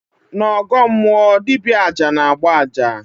N' ọgọọ mmụọ, dibịa aja na-agba aja